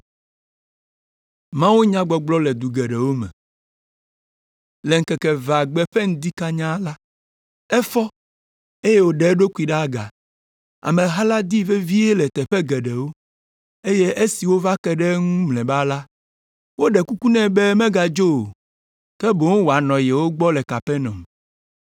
Le ŋkeke evea gbe ƒe ŋdi kanyaa la, efɔ, eye wòɖe eɖokui ɖe aga. Ameha la dii vevie le teƒe geɖewo, eye esi wova ke ɖe eŋu mlɔeba la, woɖe kuku nɛ be megadzo o, ke boŋ wòanɔ yewo gbɔ le Kapernaum.